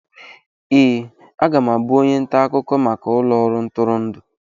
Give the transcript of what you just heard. Ee, aga m abụ onye nta akụkọ maka ụlọ ọrụ ntụrụndụ.